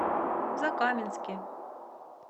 закаменске